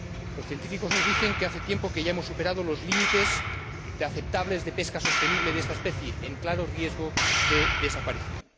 Los científicos nos dicen que hace tiempo que ya hemos superado los límites aceptables de pesca sostenible de esta especie en claro riesgo de desaparición.